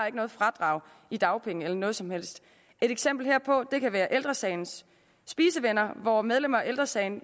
ikke noget fradrag i dagpenge eller noget som helst et eksempel herpå kan være ældre sagens spisevenner hvor medlemmer af ældre sagen